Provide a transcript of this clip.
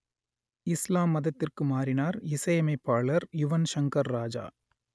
இஸ்லாம் மதத்திற்கு மாறினார் இசையமைப்பாளர் யுவன் சங்கர் ராஜா